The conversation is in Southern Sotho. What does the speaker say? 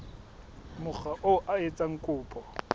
mokga oo a etsang kopo